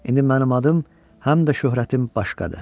İndi mənim adım həm də şöhrətim başqadır.